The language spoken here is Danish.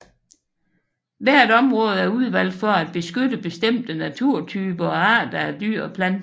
Hvert område er udvalgt for at beskytte bestemte naturtyper og arter af dyr og planter